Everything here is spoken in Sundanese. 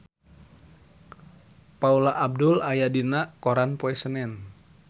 Paula Abdul aya dina koran poe Senen